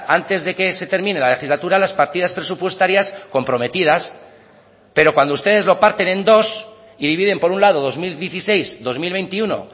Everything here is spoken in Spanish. antes de que se termine la legislatura las partidas presupuestarias comprometidas pero cuando ustedes lo parten en dos y dividen por un lado dos mil dieciséis dos mil veintiuno